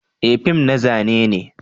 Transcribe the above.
Eh, fim na zane ne.